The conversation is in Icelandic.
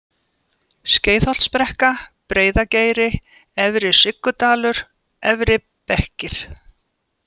Skeiðholtsbrekka, Breiðageiri, Efri-Siggudalur, Efri-Bekkir